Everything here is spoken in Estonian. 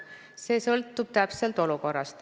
See sõltub täpselt olukorrast.